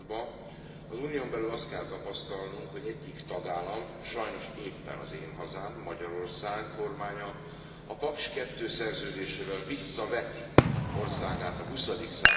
századba, az Unión belül azt kell tapasztalnunk, hogy egyik tagállam, sajnos éppen az én hazám, Magyarország kormánya a Paks II szerződésével visszaveti országát a XX.